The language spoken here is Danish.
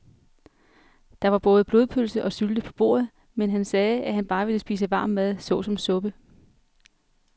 Der var både blodpølse og sylte på bordet, men han sagde, at han bare ville spise varm mad såsom suppe.